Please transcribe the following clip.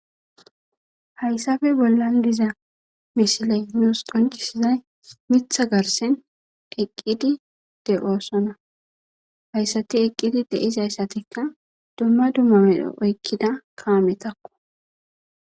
hayssafe bollan diza mishalaginos qoncisizay mitha garsen eqqidi de oosona hayssati eqqidi deizayssatikka dumma dummamedhe oykkida kaametakko